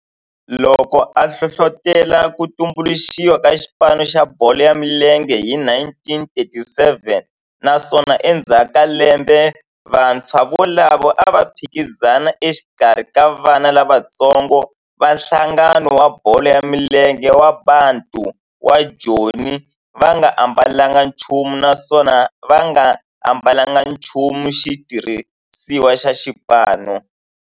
loko a hlohlotela ku tumbuluxiwa ka xipano xa bolo ya milenge hi 1937 naswona endzhaku ka lembe vantshwa volavo a va phikizana exikarhi ka vana lavatsongo va nhlangano wa bolo ya milenge wa Bantu wa Joni va nga ambalanga nchumu naswona va nga ambalanga nchumu xitirhisiwa xa xipano.